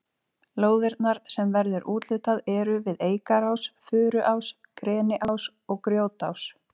Lóðirnar sem verður úthlutað eru við Eikarás, Furuás, Greniás og Grjótás.